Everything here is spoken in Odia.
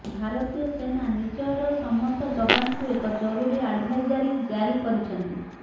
ଭାରତୀୟ ସେନା ନିଜର ସମସ୍ତ ଯବାନଙ୍କୁ ଏକ ଜରୁରୀ ଆଡ଼ଭାଇଜାରୀ ଜାରି କରିଛନ୍ତି